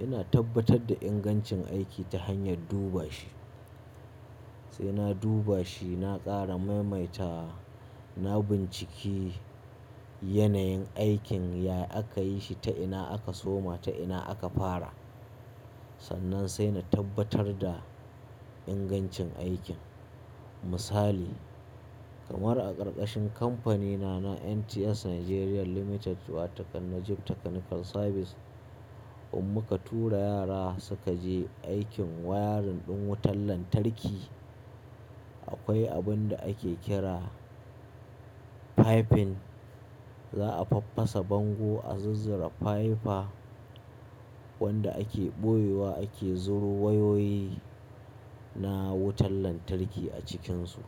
Ina tabbatar da ingancin aiki ta hanyar duba shi. Sai na duba shi, na ƙara maimaita, na binciki yanayin aikin yaya aka yi shi, ta ina aka soma, ta ina aka fara. Sannan sai na tabbatar da ingancin aikin. Misali kamar a ƙarƙashin kamfanina na NTS Nigeria Limited wato kan Najib Technical Service, in muka tura yara suka je aikin wayarin ɗin wutan lantarki, akwai abun da ake kira piping. Za a faffasa bango, a zuzzura faifa wanda ake ɓoyewa ake zura wayoyi na wutan lantarki a cikinsu.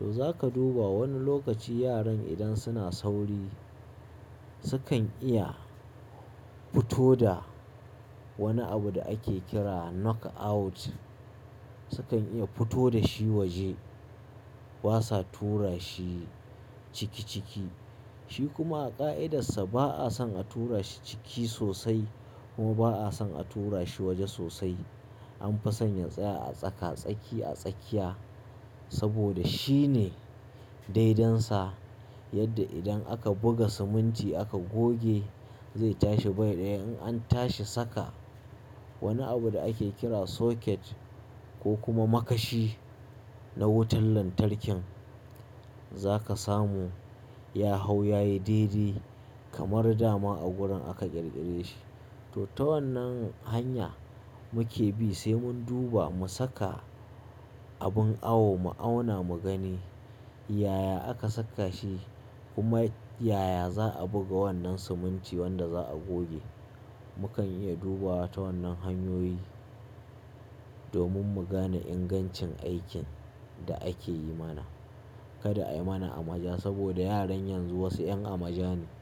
To za ka duba wani lokaci yaran idan suna sauri sukan iya fito da wani abu da ake kira knock out sukan iya fito da shi waje. Basa tura shi ciki ciki. Shi kuma a ƙa'idarsa ba'a son a tura shi ciki sosai kuma ba'a son a tura shi waje sosai. An fi sanya tsaya a tsaka, tsaki a tsakiya saboda shi ne daidansa yadda idan aka buga siminti aka goge, zai tashi bai ɗaya. In an tashi saka wani abu da ake kira socket ko kuma makashi na wutan lantarkin, za ka samu ya hau yayi dai-dai kamar dama a wurin aka ƙirƙire shi. To ta wannan hanya muke bi sai mun duba mu saka abin awo mu auna mu gani yaya aka saka shi kuma yaya za a buga wannan siminti wanda za a goge. Mukan iya dubawa ta wannan hanyoyi domin mu gane ingancin aikin da ake yi mana. Kada a yi mana amaja saboda yaran yanzu wasu 'yan amaja ne.